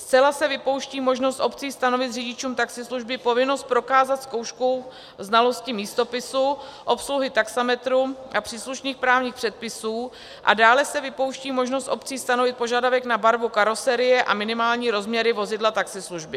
Zcela se vypouští možnost obcí stanovit řidičům taxislužby povinnost prokázat zkoušku znalosti místopisu, obsluhy taxametru a příslušných právních předpisů a dále se vypouští možnost obcí stanovit požadavek na barvu karoserie a minimální rozměry vozidla taxislužby.